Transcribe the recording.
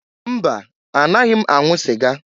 Mba! Anaghị m anwụ sịga.